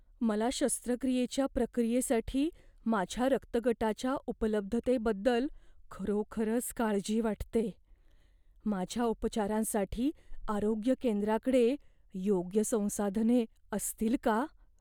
मला शस्त्रक्रियेच्या प्रक्रियेसाठी माझ्या रक्तगटाच्या उपलब्धतेबद्दल खरोखरच काळजी वाटते. माझ्या उपचारांसाठी आरोग्य केंद्राकडे योग्य संसाधने असतील का?